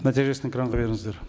нәтижесін экранға беріңіздер